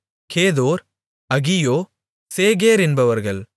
கேதோர் அகியோ சேகேர் என்பவர்கள்